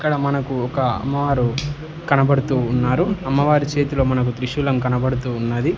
ఇక్కడ మనకు ఒక అమ్మవారు కనబడుతూ ఉన్నారు అమ్మవారి చేతిలో మనకు త్రిశూలం కనబడుతూ ఉన్నది.